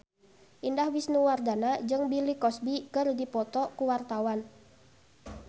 Indah Wisnuwardana jeung Bill Cosby keur dipoto ku wartawan